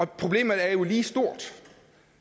problemet er jo lige stort